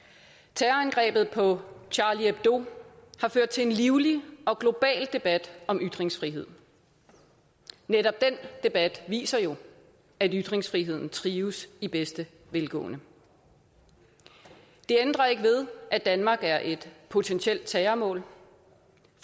terrorangrebet på charlie hebdo har ført til en livlig og global debat om ytringsfrihed netop den debat viser jo at ytringsfriheden trives i bedste velgående det ændrer ikke ved at danmark er et potentielt terrormål